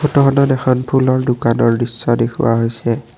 ফটোখনত দেখাত ফুলৰ দোকানৰ নিচিনা দেখুওৱা হৈছে।